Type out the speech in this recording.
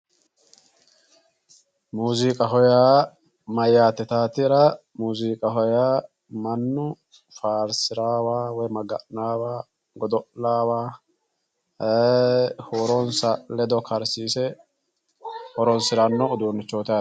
Muziiqaho yaa mayyate yittatera muziiqaho yaa mannu faarsirawa woyi Maga'nanowa godo'lawa huuronsa ledo karsiise horonsirano uduunichoti yaate.